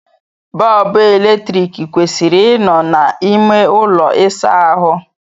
Bọọbụ eletrik kwesịrị ị nọ na ime ụlọ ịsa ahụ.